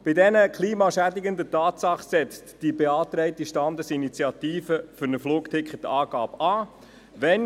Bei diesen klimaschädigenden Tatsachen setzt die beantragte Standesinitiative für eine Flugticketabgabe an.